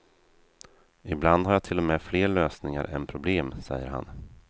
Ibland har jag till och med fler lösningar än problem, säger han.